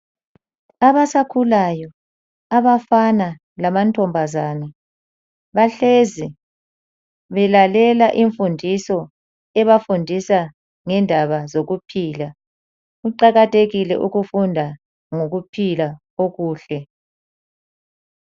Abasakhulayo abafana lamantombazane bahlezi belalela imfundiso ebafundisa ngendaba zokuphila. Kuqakathekile ukufunda ngokuphila okuhle.